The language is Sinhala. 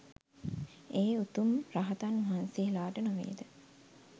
ඒ උතුම් රහතන් වහන්සේලාට නොවේද?